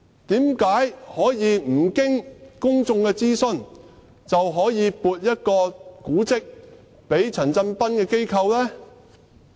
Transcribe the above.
為何可以不經公眾諮詢，便撥出古蹟給陳振彬的機構呢？